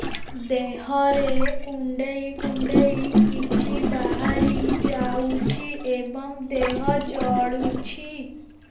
ଦେହରେ କୁଣ୍ଡେଇ କୁଣ୍ଡେଇ କିଛି ବାହାରି ଯାଉଛି ଏବଂ ଦେହ ଜଳୁଛି